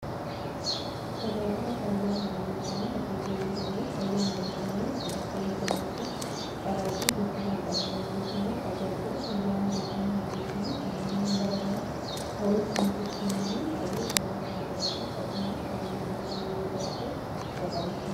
Tajaajila fayyaa horii jechuun horsiisee bultoonni fayyaan hooriisaanii akka eegamuu fi carraaqii gochuu kan qaban yookiisimmoo tajaajila fayyaa horiisaanii eeggechuu fi talaalliiwwan garagaraa horiisaaniitiif kennuun baay'ee gaarii kan ta'ee fi akkasumas fayyaan horiisaanii yoo jiraate bu'aa qabeessummaa kan qabudha.